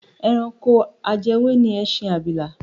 Ẹranko ajẹwé ni ẹṣin abìlà.